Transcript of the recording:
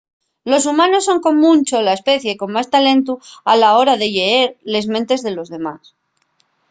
los humanos son con muncho la especie con más talentu a la hora de lleer les mentes de los demás